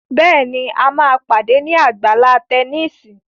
Béèni a má pàdé ní Àgbàlá Tẹníìsì.